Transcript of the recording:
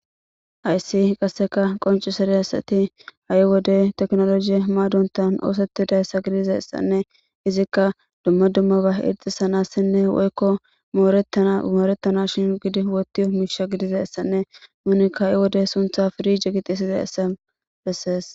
Ayssi qasseka qoncu sereyassati ha'i wode teknologiye maadontan oosetidayssa gidiza essanne izikka dumma dummaba irxisanassinne woykko moorettana shin gidi wotiyo miisha gidiza essanne nunikka ha'i wode suntha pirije gixisiza essa bessees.